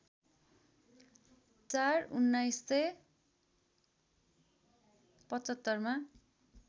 ४ १९७५ मा